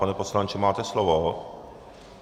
Pane poslanče, máte slovo.